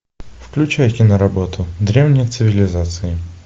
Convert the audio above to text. включай киноработу древние цивилизации